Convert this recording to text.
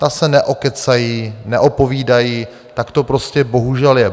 Ta se neokecají, neopovídají, tak to prostě bohužel je.